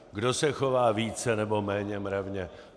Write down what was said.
Kdo se chová více, nebo méně mravně?